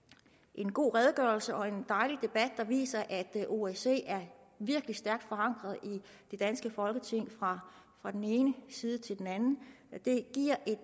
en god redegørelse og en dejlig debat der viser at osce er virkelig stærkt forankret i det danske folketing fra den ene side til den anden